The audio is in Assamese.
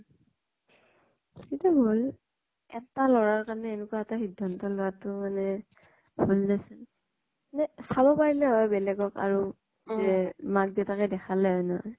সেইতো ভুল এটা লʼৰা ৰ কাৰণে, এনেকুৱা এটা সিধান্ত লোৱাতো মানে । মানে চাব পাৰিলে হয়, বেলেগ ক আৰু যে মাক দেউতাকে দেখালে হয় ন্হয় ।